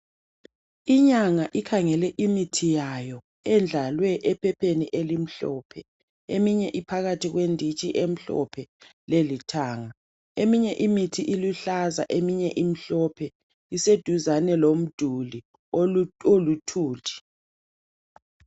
Inyanga ikhangele imithi yayo endlalwe ephepheni elimhlophe, eminye iphakathi kwenditshi emhlophe lelithanga. Eminye imithi iluhlaza, eminye imhlophe iseduzane lomduli oluthuli.